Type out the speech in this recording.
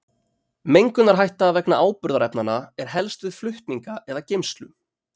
Mengunarhætta vegna áburðarefnanna er helst við flutninga eða geymslu.